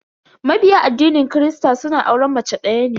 Mabiya addinin kirista suna auren mace daya ne.